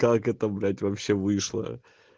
как это блять вообще вышло